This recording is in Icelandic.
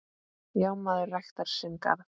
Já, maður ræktar sinn garð.